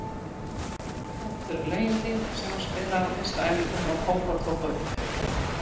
Þetta eru lögin þín sem þú spilaðir á fyrstu æfingunni og Kókó tók upp.